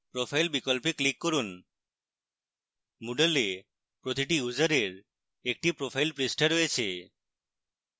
profile বিকল্পে click করুন moodle প্রতিটি ইউসারের একটি profile পৃষ্ঠা রয়েছে